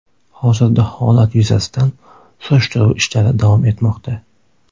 Hozirda holat yuzasidan surishtiruv ishlari davom etmoqda.